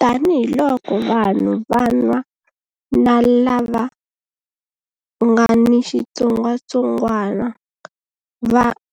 Tanihiloko vanhu van'wana lava nga ni xitsongwantsongwana